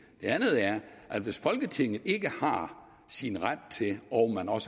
andet er at hvis folketinget ikke har sin ret til og og